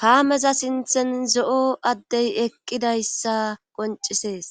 kaameza sinthen zo7o addey eqqidayssa qoncisees